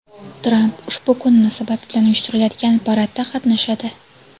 Tramp ushbu kun munosabati bilan uyushtiriladigan paradda qatnashadi.